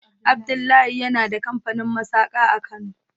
Abdullahi yana da kamfanin masaka a kano.